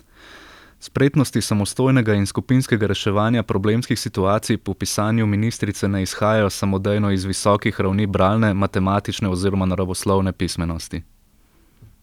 Spretnosti samostojnega in skupinskega reševanja problemskih situacij po pisanju ministrice ne izhajajo samodejno iz visokih ravni bralne, matematične oziroma naravoslovne pismenosti.